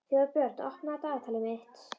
Þórbjörn, opnaðu dagatalið mitt.